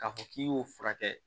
K'a fɔ k'i y'o furakɛ